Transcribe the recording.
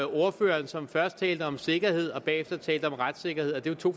ordføreren som først talte om sikkerhed og bagefter talte om retssikkerhed det er to